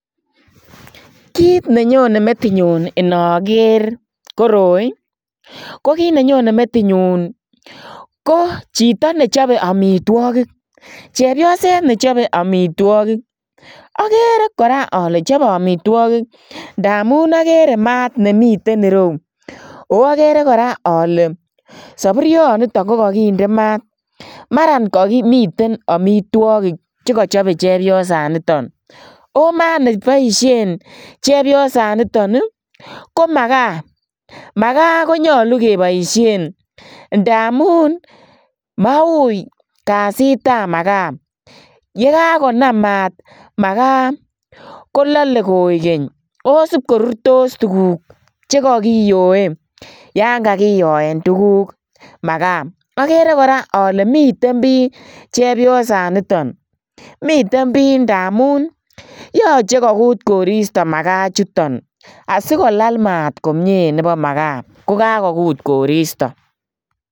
Kit ne Nyone metinyuun inageer koroi ii ko kiit ne nyonei metinyuun ko chitoo nechape amitwagiik chepyoset be chabeet amitwagiik agere kora ale chabeet amitwagiik ndamuun agere maat nemiten ireuu agere kora ale saburuiet nito ko kagindei maat mara kamiten amitwagiik che kachabei chepyoset nitoo ago maat nebaisheen chepyosaan nitoon ii ko makaa, makaa ko nyaluu kebaisheen ndamuun maqui kasit ab makaa yekakonamm maat makaa ko lale koeg keeny ago isipkorurstos tuguuk chekakiyoe yaan kagiyoen tuguuk makaa agere kora ale miten Bii chepyosaan nitoon miten Bii ndamuun yachei koguut koristoi makaa ichutoon asikolaal maat komyei nebo makaa asimaguut koristoi.